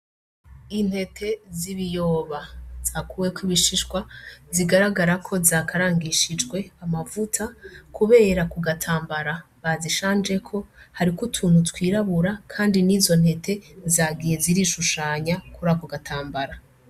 Intete z'ibiyoba zakuweko ibishishwa zigaragara ko zakarangishijwe amavuta, kubera ku gatambara bazishanjeko hariko utuntu twirabura, kandi n'izo ntete zagiye zirishushanya kuria ku gatambara.